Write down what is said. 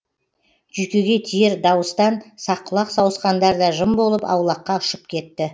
жүйкеге тиер дауыстан саққұлақ сауысқандар да жым болып аулаққа ұшып кетті